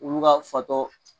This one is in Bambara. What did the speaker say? olu ka fatɔ.